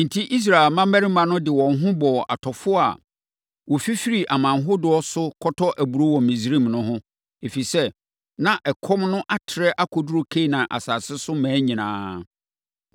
Enti, Israel mmammarima no de wɔn ho bɔɔ atɔfoɔ a wɔfifiri aman ahodoɔ so kɔtɔ aburoo wɔ Misraim no ho, ɛfiri sɛ, na ɛkɔm no atrɛ akɔduru Kanaan asase so mmaa nyinaa.